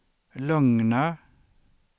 lugna